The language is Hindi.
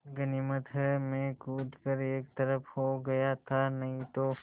गनीमत है मैं कूद कर एक तरफ़ को हो गया था नहीं तो